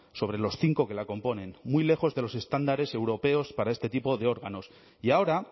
sobre los cinco que la componen muy lejos de los estándares europeos para este tipo de órganos y ahora